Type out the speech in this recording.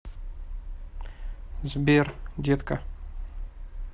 сбер детка